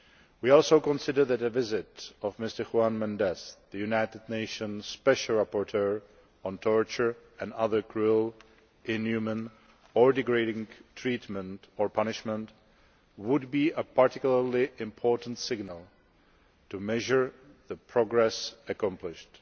We also considered that a visit by Mr Juan Méndez, the United Nations Special Rapporteur on torture and other cruel, inhumane or degrading treatment or punishment would be a particularly important signal to measure the progress accomplished.